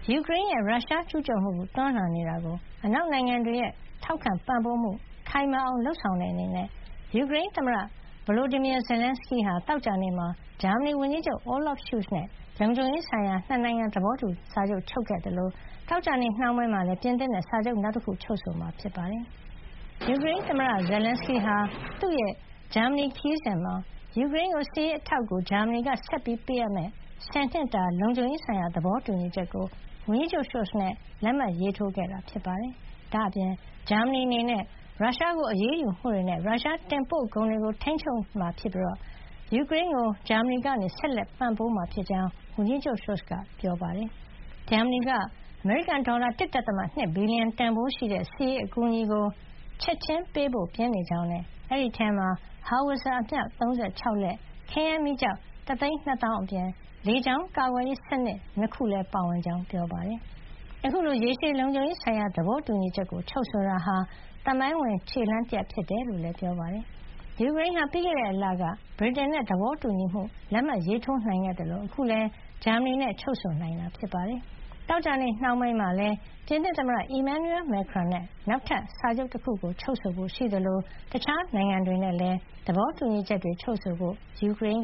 ယူကရိန်းရဲ့ ရုရှားကျူးကျော်မှု တွန်းလှန်နေတာကို အနောက်နိုင်ငံတွေ ထောက်ခံပံ့ပိုးမှု ခိုင်မာအောင် လုပ်ဆောင်တဲ့ အနေနဲ့ ယူကရိန်းသမ္မတ Volodymyr Zelenskyy ဟာ သောကြာနေ့မှာ ဂျာမနီဝန်ကြီးချုပ် Olaf Scholz နဲ့ လုံခြုံရေးဆိုင်ရာ ၂ နိုင်ငံ သဘောတူစာချုပ် ချုပ်ဆိုခဲ့သလို သောကြာနေ့ နှောင်းပိုင်းမှာလည်း ပြင်သစ်နဲ့ စာချုပ် နောက်တခု ချုပ်ဆိုမှာ ဖြစ်ပါတယ်။ ယူကရိန်းသမ္မတ Zelenskyy ဟာ သူ့ရဲ့ ဂျာမနီ ခရီးစဉ်မှာ ယူကရိန်းကို စစ်ရေး အထောက်အကူ ဂျာမနီက ဆက်လက် ပေးအပ်မယ့် ၁၀ နှစ်တာ လုံခြုံရေးဆိုင်ရာ သဘောတူညီချက်ကို ဝန်ကြီးချုပ် Scholz နဲ့ လက်မှတ်ရေးထိုးခဲ့တာပါ။ ဒါ့အပြင် ဂျာမနီအနေနဲ့ ရုရှားကို အရေးယူမှုတွေနဲ့ ရုရှားတင်ပို့ကုန်တွေကို ထိန်းချုပ်မှုတွေ လုပ်ဆောင်မှာ ဖြစ်ပြီး ရုရှားကျူးကျော်မှုကို တွန်းလှန်နေတဲ့ ယူကရိန်းကို ဂျာမနီက ဆက်လက်ပံ့ပိုးမှာ ဖြစ်ကြောင်းလည်း ဝန်ကြီးချုပ် Scholz ကပြောပါတယ်။ ဂျာမနီက ယူကရိန်းအတွက် အမေရိကန် ဒေါ်လာ ၁.၂ ဘီလီယံ တန်ဖိုးရှိတဲ့ စစ်ရေးအကူအညီကို ချက်ချင်း ပေးဖို့ ပြင်နေကြောင်းနဲ့ ဒီအထဲမှာ ဟောင်ဝပ်ဇာ အမြောက် ၃၆ လက် ၊ ခဲယမ်းမီးကျောက် ၁၂၀,၀၀၀ အပြင် လေကြောင်းကာကွယ်ရေး စနစ် ၂ ခု လည်း ပါဝင်ကြောင်း ပြောပါတယ်။ အခုလို ရေရှည် လုံခြုံရေးဆိုင်ရာ သဘောတူညီချက် ချုပ်ဆိုတာဟာ သမိုင်းဝင် ခြေလှမ်း တရပ်ဖြစ်တယ်လို့လည်း ပြောပါတယ်။ ယူကရိန်းဟာ ပြီးခဲ့တဲ့လက ဗြိတိန်နဲ့ သဘောတူညီမှု လက်မှတ်ရေး ထိုးနိုင်ခဲ့သလို အခုလည်း ဂျာမနီနဲ့ ချုပ်ဆိုနိုင်ခဲ့တာ ဖြစ်ပါတယ်။ သောကြာနေ့ နှောင်းပိုင်းမှာတော့ ပြင်သစ် သမ္မတ Emmanuel Macron နဲ့ နောက်ထပ် စာချုပ်တခု ချုပ်ဆိုဖို့ ရှိသလို တခြားနိုင်ငံတွေနဲ့လည်း လုံခြုံရေးဆိုင်ရာ သဘောတူညီချက်တွေ ချုပ်ဆိုဖို့ ယူကရိန်း